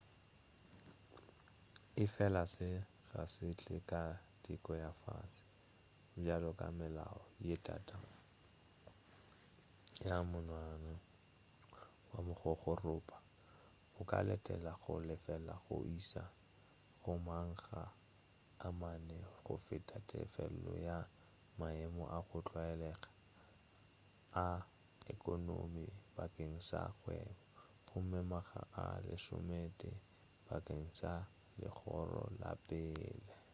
efela se ga se tle ka teko ya fase bjalo ka meloa ye tata ya monwana wa mogogorupa o ka letela go lefela go iša go makga a mane go feta tefelo ya maemo a go tlwaelga a ekonomi bakeng sa kgwebo gomme makga a lesometee bakeng sa legoro la pele